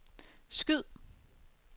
skyd